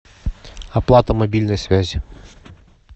оплата мобильной связи